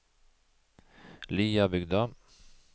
Liabygda